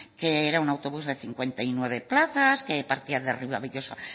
que era un autobús de cincuenta y nueve plazas partían de ribabellosa